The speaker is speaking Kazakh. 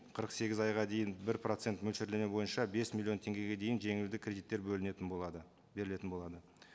қырық сегіз айға дейін бір процент мөлшерлеме бойынша бес миллион теңгеге дейін жеңілді кредиттер бөлінетін болады берілетін болады